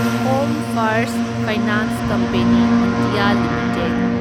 home first finance company India limited